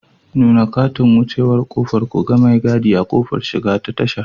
Nuna katin wucewar ƙofar ku ga mai gadi a ƙofar shiga ta tashar.